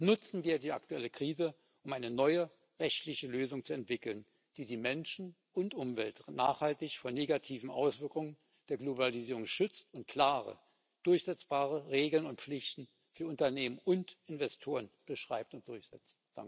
Nutzen wir die aktuelle Krise, um eine neue rechtliche Lösung zu entwickeln, die die Menschen und die Umwelt nachhaltig vor negativen Auswirkungen der Globalisierung schützt und klare, durchsetzbare Regeln und Pflichten für Unternehmen und Investoren beschreibt und durchsetzt.